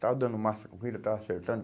Estava dando massa corrida, estava acertando.